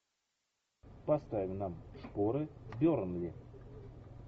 поставь нам шпоры бернли